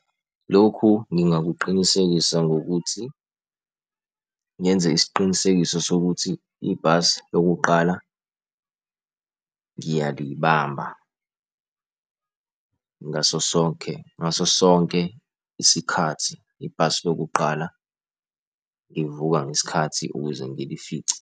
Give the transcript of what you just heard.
Lokhu ngingakuqinisekisa ngokuthi ngenze isiqinisekiso sokuthi ibhasi lokuqala ngiyalibamba. Ngaso sonke, ngaso sonke isikhathi, ibhasi lokuqala ngivuka ngesikhathi ukuze ngilifice.